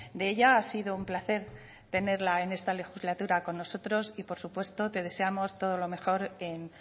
de ella ha sido un placer tenerla en esta legislatura con nosotros y por supuesto te deseamos todo lo mejor en